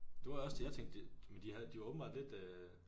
Det var også det jeg tænkte det men de havde de var åbenbart lidt øh